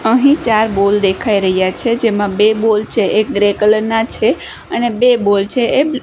અહીં ચાર બોલ દેખાય રહ્યા છે જેમાં બે બોલ છે એક ગ્રે કલર ના છે અને બે બોલ છે એ બ્--